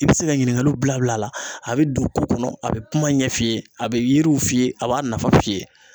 I bi se ka ɲininkaliw bila bila a la , a be don ko kɔnɔ ,a be kuma ɲɛ f'i ye a be yiriw f'i ye a b'a nafaw f'i ye.